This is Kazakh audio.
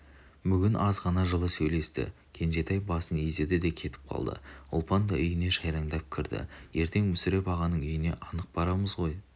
бүгін аз ғана жылы сөйлесті кенжетай басын изеді де кетіп қалды ұлпан да үйіне жайраңдай кірді ертең мүсіреп ағаның үйіне анық барамыз ғой